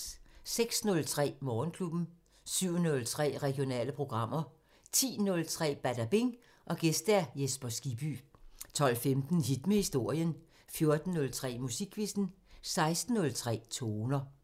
06:03: Morgenklubben 07:03: Regionale programmer 10:03: Badabing: Gæst Jesper Skibby 12:15: Hit med historien 14:03: Musikquizzen 16:03: Toner